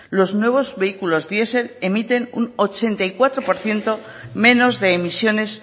los nuevos vehículos diesel emiten un ochenta y cuatro por ciento menos de emisiones